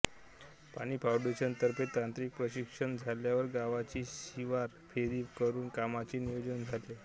पानी फाउंडेशनतर्फे तांत्रिक प्रशिक्षण झाल्यावर गावाची शिवार फेरी करून कामाचे नियोजन झाले